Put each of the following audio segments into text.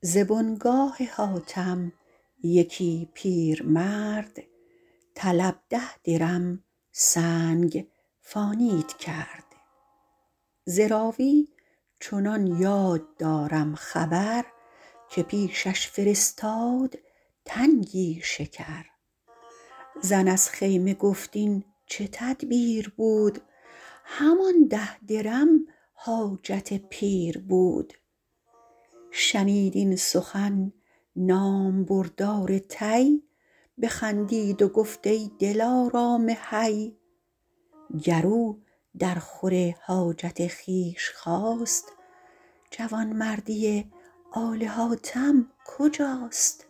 ز بنگاه حاتم یکی پیرمرد طلب ده درم سنگ فانید کرد ز راوی چنان یاد دارم خبر که پیشش فرستاد تنگی شکر زن از خیمه گفت این چه تدبیر بود همان ده درم حاجت پیر بود شنید این سخن نامبردار طی بخندید و گفت ای دلارام حی گر او در خور حاجت خویش خواست جوانمردی آل حاتم کجاست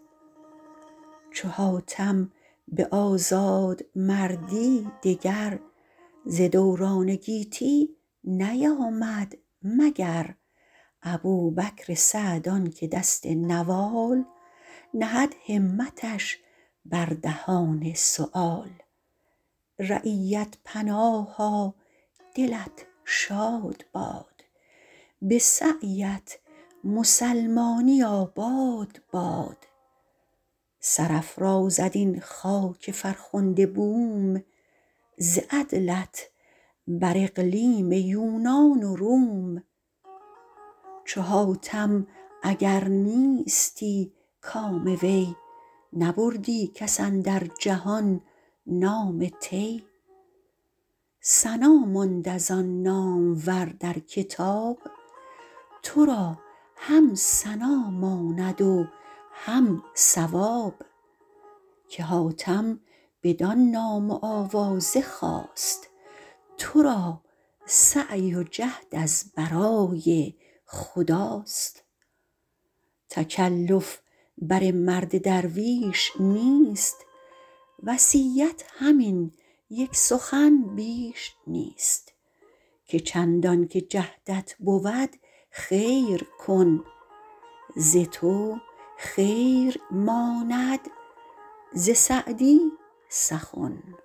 چو حاتم به آزادمردی دگر ز دوران گیتی نیامد مگر ابوبکر سعد آن که دست نوال نهد همتش بر دهان سؤال رعیت پناها دلت شاد باد به سعی ات مسلمانی آباد باد سرافرازد این خاک فرخنده بوم ز عدلت بر اقلیم یونان و روم چو حاتم اگر نیستی کام وی نبردی کس اندر جهان نام طی ثنا ماند از آن نامور در کتاب تو را هم ثنا ماند و هم ثواب که حاتم بدان نام و آوازه خواست تو را سعی و جهد از برای خداست تکلف بر مرد درویش نیست وصیت همین یک سخن بیش نیست که چندان که جهدت بود خیر کن ز تو خیر ماند ز سعدی سخن